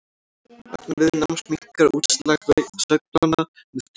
vegna viðnáms minnkar útslag sveiflnanna með tíma